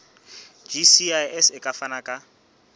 gcis e ka fana ka